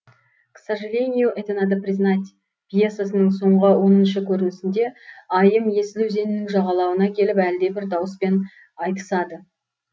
к сожелению это надо признать пьесаның соңғы оныншы көрінісінде айым есіл өзенінің жағалауына келіп әлдебір дауыспен айтысады